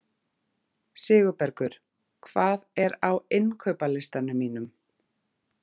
Sigurbergur, hvað er á innkaupalistanum mínum?